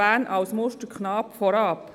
Bern als Musterknabe damit beginnen?